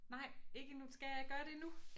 Nej ikke endnu skal jeg gøre det nu?